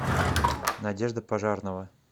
надежда пожарнова